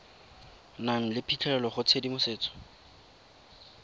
nang le phitlhelelo go tshedimosetso